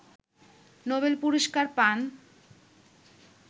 Nobel পুরস্কার পান